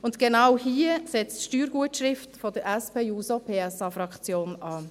– Und genau hier setzt die Steuergutschrift der SPJUSO-PSA-Fraktion an.